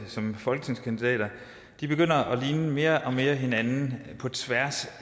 som folketingskandidater begynder mere og mere at ligne hinanden på tværs